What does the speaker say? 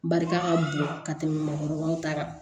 Barika ka bon ka tɛmɛ maakɔrɔbaw ta kan